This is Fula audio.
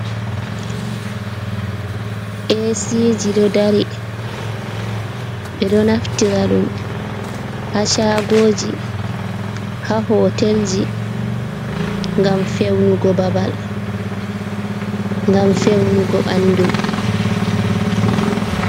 Eesiiji ɗo dari, ɓe ɗo naftira ɗum haa caagooji, haa hotelji, ngam fewnugo babal, ngam fewnugo ɓanndu.